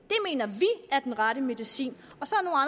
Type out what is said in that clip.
er den rette medicin